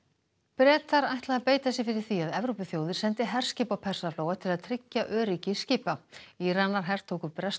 Bretar ætla að beita sér fyrir því að Evrópuþjóðir sendi herskip á Persaflóa til að tryggja öryggi skipa Íranar hertóku breskt